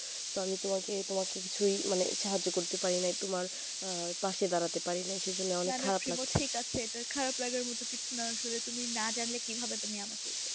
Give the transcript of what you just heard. তো আমি তোমাকে কিছু সাহায্য করতে পারি নাই আর পাশে দাঁড়াতে পারিনি সেজন্য অনেক খারাপ লাগছে